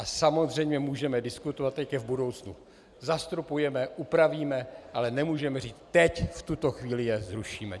A samozřejmě můžeme diskutovat, jak je v budoucnu zastropujeme, upravíme, ale nemůžeme říct: teď, v tuto chvíli je zrušíme.